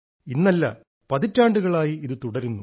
ഇന്നല്ല പതിറ്റാണ്ടുകളായി ഇത് തുടരുന്നു